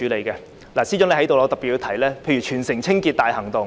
既然司長在席，我想特別談談全城清潔大行動。